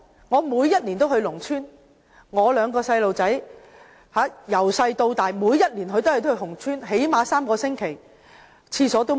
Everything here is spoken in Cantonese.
我每年都會到農村，我兩名孩子從小到大每年都會到農村最少3個星期，那裏連廁所也沒有。